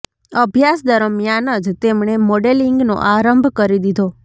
અભ્યાસ દરમિયાન જ તેમણે મોડેલિંગનો આરંભ કરી દીધો